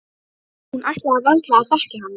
Hún ætlaði varla að þekkja hana.